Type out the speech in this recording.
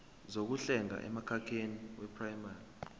zokuhlenga emkhakheni weprayimari